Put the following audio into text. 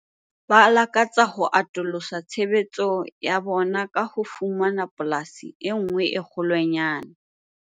Ba lakatsa ho atolosa tshebetso ya bona ka ho fumana polasi e nngwe e kgolwanyane.